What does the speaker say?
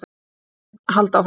Það mun halda áfram.